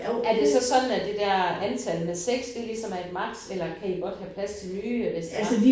Er det så sådan at det der antal med 6 at det ligesom er et max eller kan I godt have plads til nye hvis det var?